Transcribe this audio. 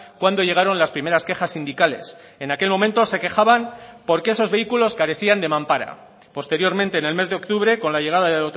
cuando llegaron las primeras quejas sindicales en aquel momento se quejaban porque esos vehículos carecían de mampara posteriormente en el mes de octubre con la llegada de